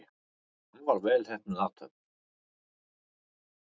Afar vel heppnuð athöfn.